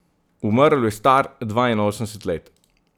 Umrl je star dvainosemdeset let.